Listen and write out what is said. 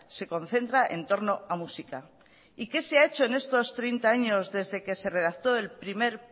se concentra en torno a muxika y qué se ha hecho en estos treinta años desde que se redacto el primer